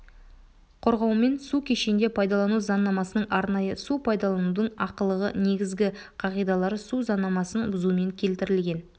қорғаумен су кешенде пайдалану заңнамасының арнайы су пайдаланудың ақылығы негізгі қағидалары су заңнамасын бұзумен келтірілген